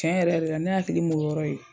Tiɲɛ yɛrɛ yɛrɛ la ne hakili m'o yɔrɔ ye.